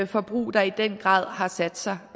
forbrug der i den grad har sat sig